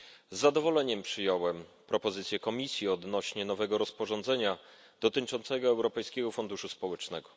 Z zadowoleniem przyjąłem propozycję Komisji odnośnie do nowego rozporządzenia dotyczącego Europejskiego Funduszu Społecznego.